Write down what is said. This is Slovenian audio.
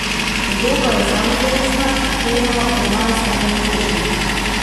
Podoba je samozavestna, kleno germanska in mogočna.